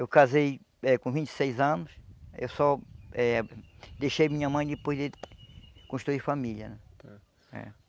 Eu casei eh com vinte e seis anos, eu só eh deixei minha mãe depois de construir família eh.